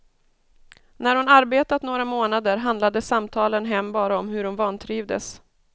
När hon arbetat några månader handlade samtalen hem bara om hur hon vantrivdes.